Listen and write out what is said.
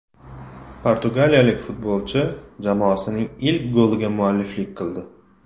Portugaliyalik futbolchi jamoasining ilk goliga mualliflik qildi.